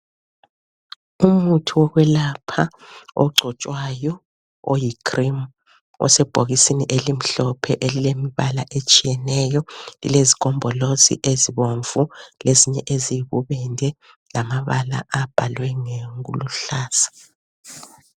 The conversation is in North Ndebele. Umuthi wokwelapha ogcotshwayo oyicream osebhokisini elimhlophe elilembala etshiyeneyo lilezigombolozi ezibomvu lezinye eziyibubende lamabala abhalwe ngokuluhlaza.